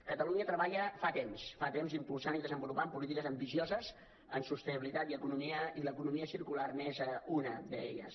catalunya hi treballa fa temps fa temps impulsant i desenvolupant polítiques ambicioses en sostenibilitat i economia i l’economia circular és una d’elles